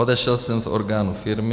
Odešel jsem z orgánů firmy.